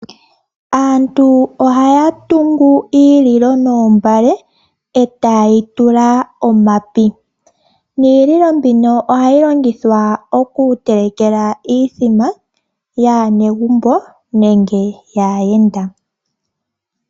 Aantu ohaya tungu omalilo noombale e taye ga tula omapi. Omalilo ngano ohaga longithwa okutelekela iimbombo yaanegumbo nenge yaayenda.